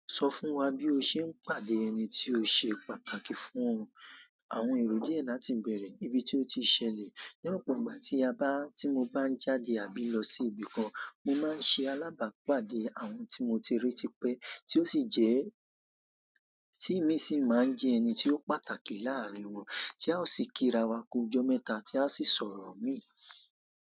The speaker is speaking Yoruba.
Sọ fún wá bí o ṣe ń pàdé ẹní tí o ṣe pàtàkì fún ọ. Àwọn èrò diẹ láti bẹrẹ, ibí tí oti ṣẹlẹ̀ ní ọ̀pọ̀ ìgbà tí a bá, tí mo bá ń jáde àbí lọ sí ibìkan, mo máa ń ṣe alábàápàdé àwọn tí mo ti rí ti pẹ́, tí ó sì jẹ́, tí mí sì máa ń jẹ́ ẹni tí ó pàtàkì láàárín wọn, tí a ó sì kí ra wa ku ọjọ́ mẹ́ta tí a sì sọ̀rọ̀ mí.